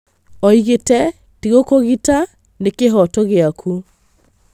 Oigĩte"Tigũkũgita nĩ kĩhooto gĩaku"